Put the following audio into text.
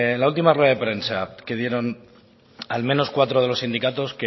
la última rueda de prensa que dieron al menos cuatro de los sindicatos